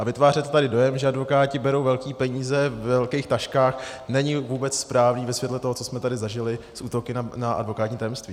A vytvářet tady dojem, že advokáti berou velké peníze ve velkých taškách, není vůbec správné ve světle toho, co jsme tady zažili s útoky na advokátní tajemství.